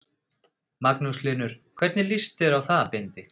Magnús Hlynur: hvernig líst þér á það Benedikt?